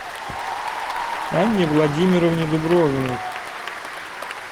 анне владимировне дубровиной